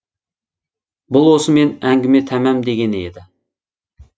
бұл осымен әңгіме тамам дегені еді